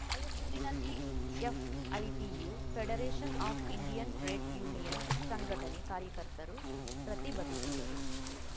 ರಾಯಚೂರಿನಲ್ಲಿ FITU federation of Indian trade union ಸಂಘಟನೆ ಕಾರ್ಯಕರ್ತರು ಪ್ರತಿಭಟಿಸಿದರು